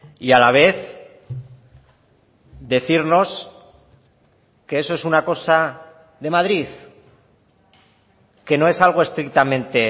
y a la vez decirnos que eso es una cosa de madrid que no es algo estrictamente